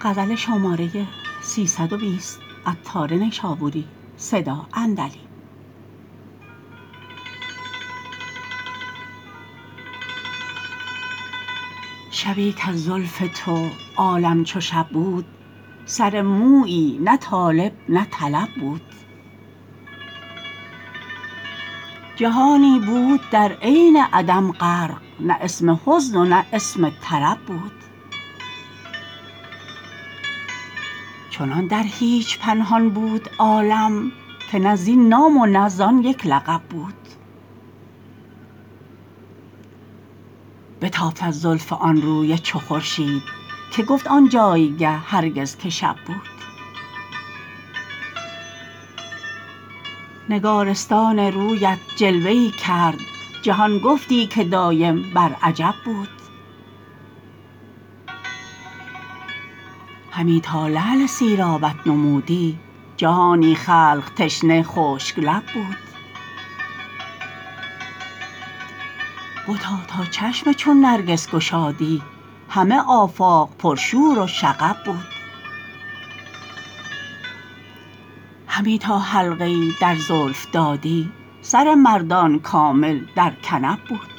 شبی کز زلف تو عالم چو شب بود سر مویی نه طالب نه طلب بود جهانی بود در عین عدم غرق نه اسم حزن و نه اسم طرب بود چنان در هیچ پنهان بود عالم که نه زین نام و نه زان یک لقب بود بتافت از زلف آن روی چو خورشید که گفت آن جایگه هرگز که شب بود نگارستان رویت جلوه ای کرد جهان گفتی که دایم بر عجب بود همی تا لعل سیرابت نمودی جهانی خلق تشنه خشک لب بود بتا تا چشم چون نرگس گشادی همه آفاق پر شور و شغب بود همی تا حلقه ای در زلف دادی سر مردان کامل در کنب بود